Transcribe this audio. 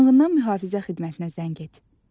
Yanğından mühafizə xidmətinə zəng et.